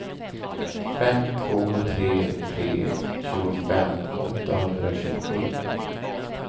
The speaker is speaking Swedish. fem två tre tre tjugofem åttahundratjugosju